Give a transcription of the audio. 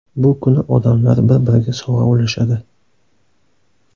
Bu kuni odamlar bir-biriga sovg‘a ulashadi.